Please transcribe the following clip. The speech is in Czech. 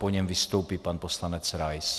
Po něm vystoupí pan poslanec Rais.